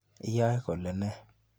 Iyae kolee nee.